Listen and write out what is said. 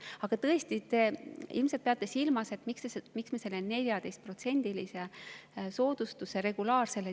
Aga te ilmselt peate silmas, miks me kaotasime selle regulaarse dividendi 14%‑lise soodustuse.